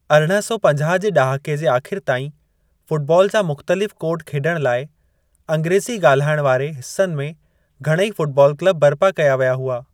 अरिड़हं सौ पंजाह जे ड॒हाके जे आखि़रि ताईं, फुटबॉल जा मुख़्तलिफ़ कोड खेड॒णु लाइ, अँग्रेज़ी गा॒ल्हिायणु वारे हिस्सनि में घणेई फुटबॉल क्लब बरिपा कया विया हुआ।